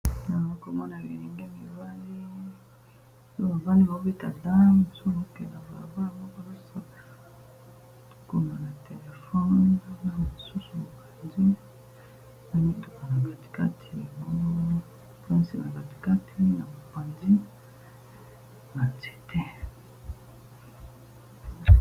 Nakomona bilinge mubali oyo bavandi baobeta dam soki okeyi balabala komona na téléphone na mosusu mokandi na mituka na katikati ya mopanzi na mutuka batikati na mopanzi na nzete.